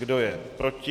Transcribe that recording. Kdo je proti?